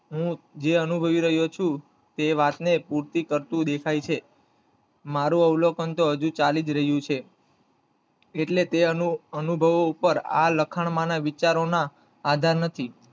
હું જે અનુભવી રહ્યો છું તે વાતને પૂર્તિ કરતો દેખાય છે. મારું અવલોકન તો હજી ચાલી જ રહ્યું છે. એટલે તે અનુભવો ઉપર આ લખાણમાંના વિચારોના આધાર નથી